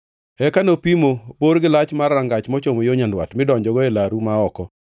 Eka nopimo bor gi lach mar rangach mochomo yo nyandwat, midonjogo e laru ma oko.